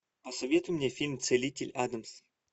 посоветуй мне фильм целитель адамс